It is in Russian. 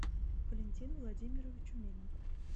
валентину владимировичу мельнику